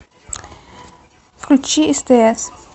включи стс